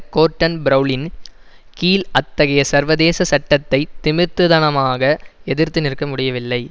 கோர்டன் பிரெளனின் கீழ் அத்தகைய சர்வதேச சட்டத்தை திமிர்த்துதனமாக எதிர்த்து நிற்க முடியவில்லை